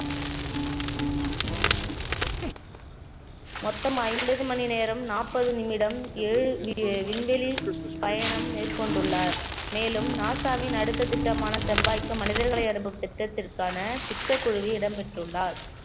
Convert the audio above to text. மொத்தம் ஐம்பது மணி நேரம் நாற்பது நிமிடம் ஏழு வி~ விண்வெளி பயணம் மேற்கொண்டுள்ளார் மேலும் நாசாவின் அடுத்த திட்டமான செவ்வாய்க்கு மனிதர்களை அனுப்பு திட்டத்திற்கான திட்டக்குழுவில் இடம் பெற்றுள்ளார்